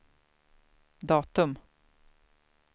datum